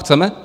Chceme?